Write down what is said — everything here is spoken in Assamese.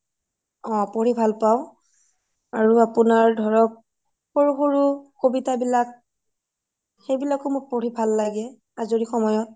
অ পঢ়ি ভাল পাওঁ আৰু আপুনাৰ ধোৰোক সৰু সৰু কবিতা বিলাক সেই বিলাকও মোৰ পঢ়ি ভাল লাগে আজিৰী সময়ত